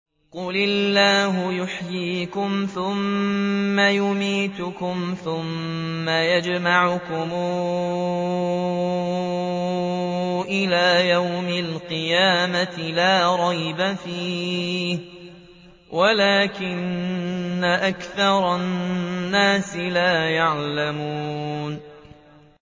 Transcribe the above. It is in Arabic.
قُلِ اللَّهُ يُحْيِيكُمْ ثُمَّ يُمِيتُكُمْ ثُمَّ يَجْمَعُكُمْ إِلَىٰ يَوْمِ الْقِيَامَةِ لَا رَيْبَ فِيهِ وَلَٰكِنَّ أَكْثَرَ النَّاسِ لَا يَعْلَمُونَ